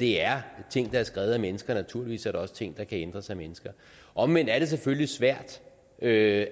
det er ting der er skrevet af mennesker og naturligvis er der også ting der kan ændres af mennesker omvendt er det selvfølgelig svært